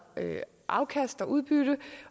afkast og udbytte